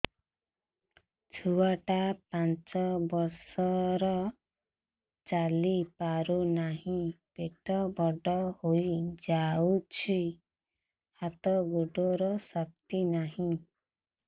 ଛୁଆଟା ପାଞ୍ଚ ବର୍ଷର ଚାଲି ପାରୁନାହଁ ପେଟ ବଡ ହୋଇ ଯାଉଛି ହାତ ଗୋଡ଼ର ଶକ୍ତି ନାହିଁ